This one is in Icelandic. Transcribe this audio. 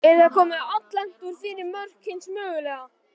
Er þá komið alllangt út fyrir mörk hins mögulega.